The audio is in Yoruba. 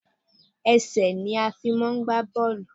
Ẹsẹ̀ ni a fi máà ń gbá bọ́ọ̀lù.